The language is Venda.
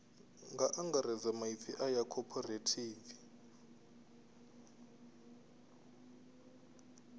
nga angaredza maipfi aya cooperative